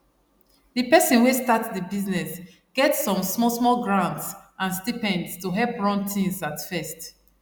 the person wey start the business get some small small grants and stipends to help run things at first